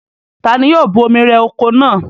Ta ni yóò bu omi rẹ oko náà?